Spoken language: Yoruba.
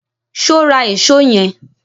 So ra èsó yen